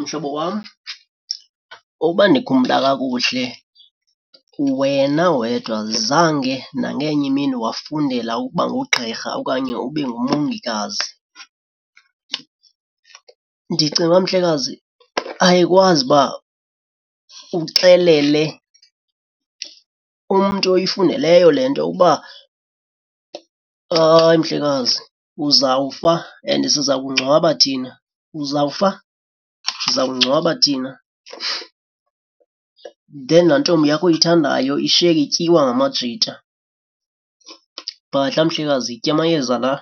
Mhlobo wam uba ndikhumbula kakuhle wena wedwa zange nangenye imini wafundela ukuba ngugqirha okanye ube ngumongikazi. Ndicinga uba mhlekazi ayikwazi uba uxelele umntu oyifundeleyo le nto uba hayi mhlekazi, uzawufa and siza kungcwaba thina. Uzawufa siza kungcwaba thina then laa ntombi yakho uyithandayo, ishiyeke ityiwa ngamajita. Bhadla mhlekazi, yitya amayeza la.